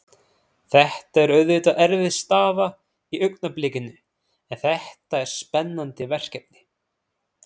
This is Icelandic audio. Þetta er auðvitað erfið staða í augnablikinu en þetta er spennandi verkefni.